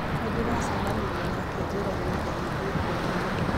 Nĩ ndiracemanirie nake njĩra-inĩ agĩthiĩ kũũria